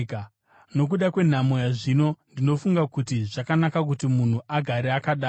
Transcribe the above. Nokuda kwenhamo yazvino, ndinofunga kuti zvakanaka kuti munhu agare akadaro.